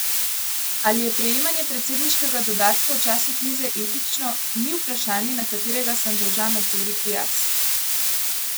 Ali je prejemanje predsedniškega dodatka v času krize etično, ni vprašanje na katerega sem dolžan odgovoriti jaz.